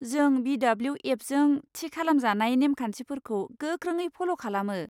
जों बि.डब्ल्यु.एफ.जों थि खालामजानाय नेमखान्थिफोरखौ गोख्रोङै फल' खालामो।